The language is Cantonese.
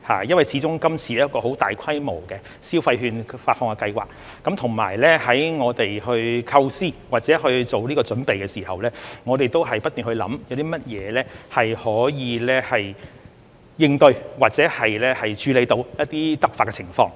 因為今次始終是一項很大規模的消費券發放計劃，我們在構思或做準備的時候，均不斷思考有甚麼可以應對或處理到一些突發情況。